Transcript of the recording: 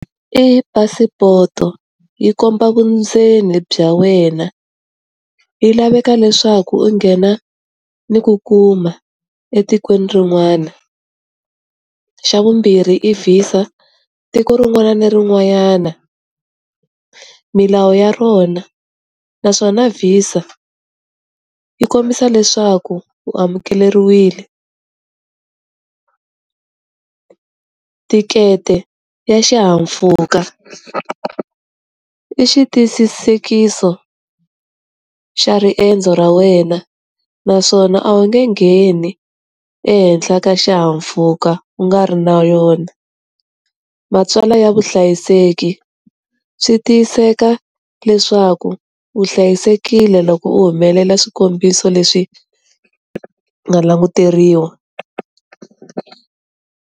I phasipoto, yi komba vundzeni bya wena. Yi laveka leswaku u nghena ni ku kuma etikweni rin'wana. Xa vumbirhi i VISA, tiko rin'wana na rin'wanyana, milawu ya rona. Naswona VISA yi kombisa leswaku u amukeriwile. Thikete ya xihahampfhuka i xi tiyisisekiso xa riendzo ra wena, naswona a wu nge ngheni ehenhla ka xihahampfhuka u nga ri na yona. Matsalwa ya vuhlayiseki, swi tiyiseka leswaku u hlayisekile loko u humelela swikombiso, leswi nga languteriwa.